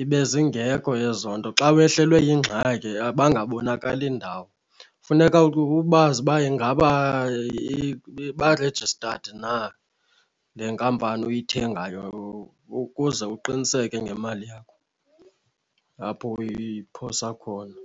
ibe zingekho ezo nto, xa wehlelwe yingxaki bangabonakali ndawo. Funeka ubazi uba ingaba ba-registered na le nkampani uyithengayo ukuze uqiniseke ngemali yakho apho uyiphosa khona.